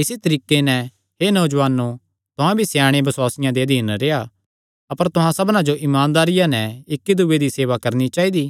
इसी तरीके नैं हे नौजुआनो तुहां भी स्याणे बसुआसियां दे अधीन रेह्आ अपर तुहां सबना जो इमानदारिया नैं इक्की दूये दी सेवा करणी चाइदी